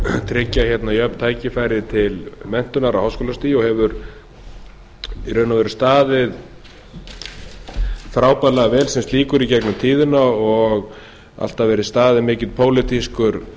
tryggja hérna jöfn tækifæri til menntunar á háskólastigi og hefur í raun og veru staðið sig frábærlega vel sem slíkur í gegnum tíðina og alltaf verið staðinn mikill pólitískur